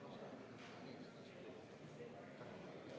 Austatud Riigikogu!